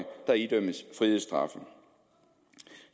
der idømmes frihedsstraffe